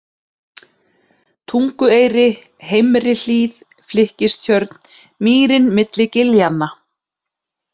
Tungueyri, Heimri-Hlíð, Flykkistjörn, Mýrin milli giljanna